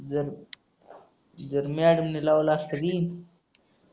जर मॅडमनी लावला असता तर येईन